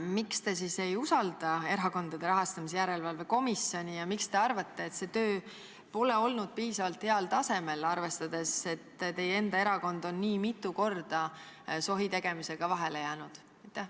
Miks te siis ei usalda Erakondade Rahastamise Järelevalve Komisjoni ja miks te arvate, et see töö pole olnud piisavalt heal tasemel, arvestades, et teie enda erakond on nii mitu korda sohitegemisega vahele jäänud?